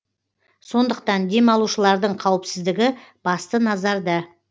сондықтан демалушылардың қауіпсіздігі басты назарда